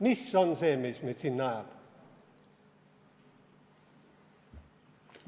Mis on see, mis meid sinna ajab?